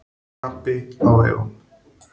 Krapi á vegum